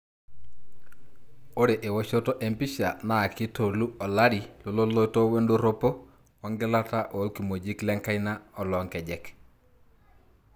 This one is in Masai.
Ore eoshoto empisha na kitolu olari loloito wedoropo ongilata olkimojik lenkaina olonkejek.